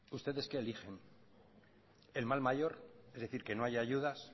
ustedes qué eligen el mal mayor es decir que no haya ayudas